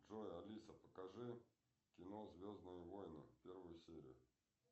джой алиса покажи кино звездные войны первую серию